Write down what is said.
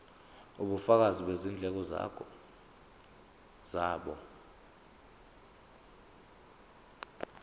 ubufakazi bezindleko zabo